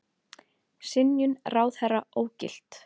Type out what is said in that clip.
Synjun ráðherra ógilt